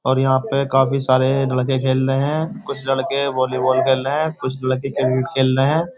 और यहां पे काफी सारे लड़के खेल रहे हैं कुछ लड़के वॉलीबॉल खेल रहे हैं कुछ लड़के क्रिकेट खेल रहे हैं।